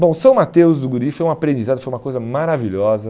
Bom, São Mateus do Guriri foi um aprendizado, foi uma coisa maravilhosa.